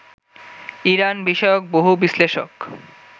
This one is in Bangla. ইরান বিষয়ক বহু বিশ্লেষক